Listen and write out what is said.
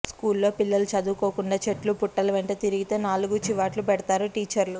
స్కూల్లో పిల్లలు చదువుకోకుండా చెట్లు పుట్టల వెంట తిరిగితే నాలుగు చివాట్లు పెడతారు టీచర్లు